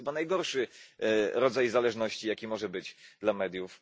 I to jest chyba najgorszy rodzaj zależności, jaki może być dla mediów.